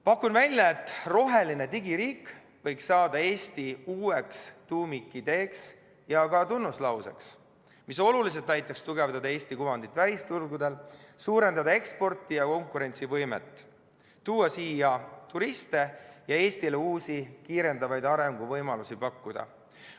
Pakun välja, et roheline digiriik võiks saada Eesti uueks tuumikideeks ja ka tunnuslauseks, mis oluliselt aitaks tugevdada Eesti kuvandit välisturgudel, suurendada eksporti ja konkurentsivõimet, tuua siia turiste ja Eestile uusi kiirendavaid arenguvõimalusi pakkuda.